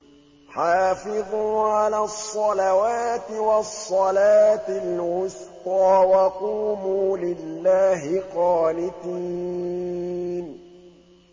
حَافِظُوا عَلَى الصَّلَوَاتِ وَالصَّلَاةِ الْوُسْطَىٰ وَقُومُوا لِلَّهِ قَانِتِينَ